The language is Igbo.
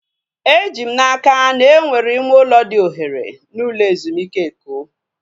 Eji m n'aka na enwere ime ụlọ dị ohere n'ụlọ ezumike Eko